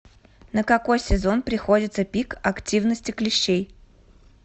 на какой сезон приходится пик активности клещей